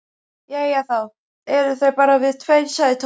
Jæja, þá eru það bara við tveir sagði Tóti.